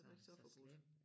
Det var ikke så forbudt